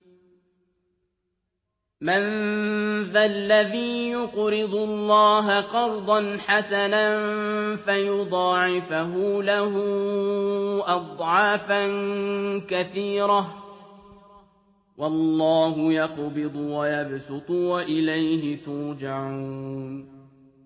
مَّن ذَا الَّذِي يُقْرِضُ اللَّهَ قَرْضًا حَسَنًا فَيُضَاعِفَهُ لَهُ أَضْعَافًا كَثِيرَةً ۚ وَاللَّهُ يَقْبِضُ وَيَبْسُطُ وَإِلَيْهِ تُرْجَعُونَ